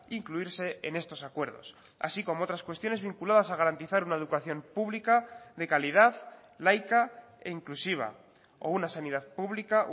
incluirse en estos acuerdos así como otras cuestiones vinculadas a garantizar una educación pública de calidad laica e inclusiva o una sanidad pública